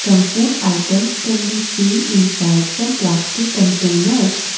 some food items can be seen inside some plastic containers.